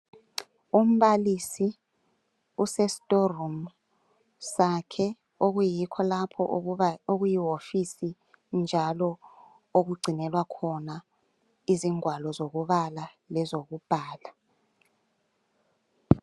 Umbalisi usestoreroom sakhe okuyikho lapho okuyiwofisi njalo okugcinelwa khona izingwalo ezokubala lezokubhala.